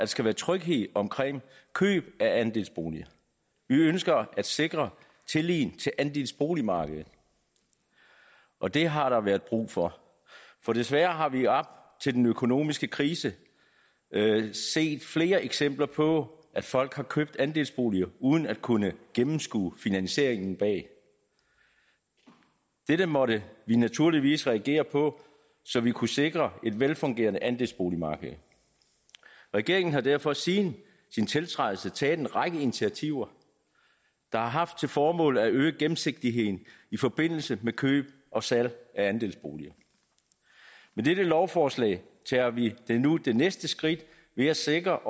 skal være tryghed omkring køb af andelsboliger vi ønsker at sikre tilliden til andelsboligmarkedet og det har der været brug for for desværre har vi op til den økonomiske krise set flere eksempler på at folk har købt andelsboliger uden at kunne gennemskue finansieringen bag dette måtte vi naturligvis reagere på så vi kunne sikre et velfungerende andelsboligmarked regeringen har derfor siden sin tiltrædelse taget en række initiativer der har haft til formål at øge gennemsigtigheden i forbindelse med køb og salg af andelsboliger med dette lovforslag tager vi nu det næste skridt ved at sikre